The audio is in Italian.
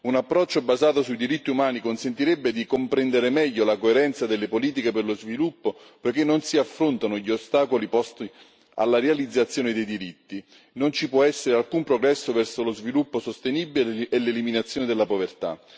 Un approccio basato sui diritti umani consentirebbe di comprendere meglio la coerenza delle politiche per lo sviluppo, perché se non si affrontano gli ostacoli posti alla realizzazione dei diritti, non ci può essere alcun progresso verso lo sviluppo sostenibile e l'eliminazione della povertà.